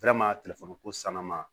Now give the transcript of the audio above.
ko sannama